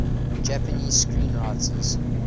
japanese screenwriters